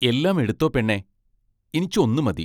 എല്ലാം എടുത്തോ പെണ്ണേ ഇനിച്ച് ഒന്നു മതി.